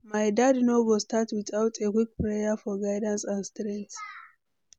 My day no go start without a quick prayer for guidance and strength.